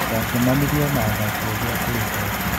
Ndacemanirio na athaki othe a-kũrihwo.